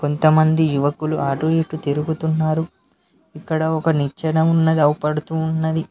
కొంతమంది యువకులు అటు ఇటు తిరుగుతున్నారు ఇక్కడ ఒక నిచ్చన ఉన్నది అవుపడుతూ ఉన్నది.